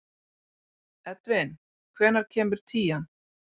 Edvin, hvenær kemur tían?